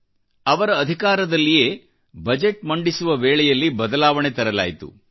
ಅವರ ಅಧಿಕಾರದಲ್ಲಿಯೇ ಬಜೆಟ್ ಮಂಡಿಸುವವೇಳೆಯಲ್ಲಿ ಬದಲಾವಣೆ ತರಲಾಯಿತು